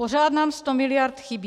Pořád nám 100 mld. chybí.